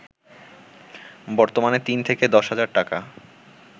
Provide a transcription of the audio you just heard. বর্তমানে ৩ থেকে ১০ হাজার টাকা